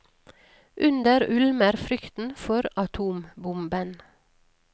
Under ulmer frykten for atombomben.